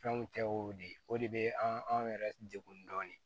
Fɛnw tɛ wo de o de bɛ anw yɛrɛ degun dɔɔni